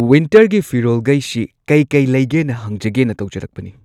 ꯋꯤꯟꯇꯔꯒꯤ ꯐꯤꯔꯣꯜꯒꯩꯁꯤ ꯀꯩꯀꯩ ꯂꯩꯒꯦꯅ ꯍꯪꯖꯒꯦꯅ ꯇꯧꯖꯔꯛꯄꯅꯤ꯫